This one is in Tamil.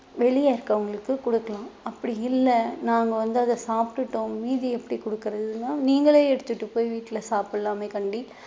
வெளிய இருக்கவங்களுக்கு கொடுக்கலாம் அப்படி இல்லை நாங்க வந்து அதை சாப்பிட்டுட்டோம் மீதி எப்படி கொடுக்கிறதுன்னா நீங்களே எடுத்துட்டு போய் வீட்ல சாப்பிடலாமே காண்டி